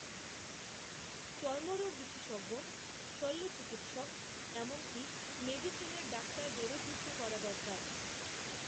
চর্মরোগ বিশেষজ্ঞ, শল্য চিকিৎসক এমনকী মেডিসিনের ডাক্তারদেরও যুক্ত করা দরকার